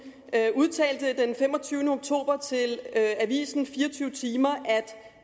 udtalte den femogtyvende oktober til avisen 24timer